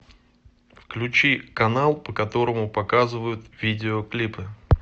включи канал по которому показывают видеоклипы